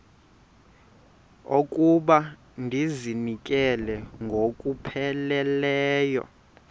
okokuba ndizinikele ngokupheleleyo